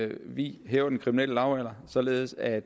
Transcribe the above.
vi hæver den kriminelle lavalder således at